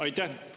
Aitäh!